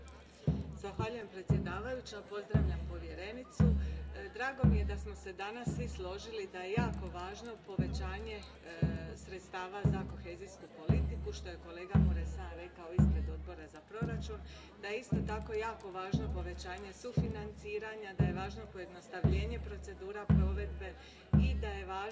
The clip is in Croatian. Gospođo predsjedavajuća, gospođo povjerenice, drago mi je da smo se danas svi složili da je jako važno povećati sredstva za kohezijsku politiku, što je kolega Mureşan rekao ispred Odbora za proračun, da je isto tako jako važno povećanje sufinanciranja, da je važno pojednostavljenje procedura provedbe i da je važno